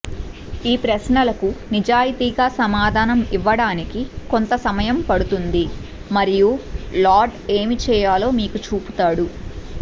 ఈ ప్రశ్నలకు నిజాయితీగా సమాధానం ఇవ్వడానికి కొంత సమయం పడుతుంది మరియు లార్డ్ ఏమి చేయాలో మీకు చూపుతాడు